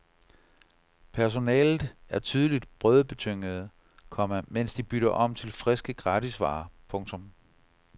Personalet er tydeligt brødbetyngede, komma mens de bytter om til friske gratisvarer. punktum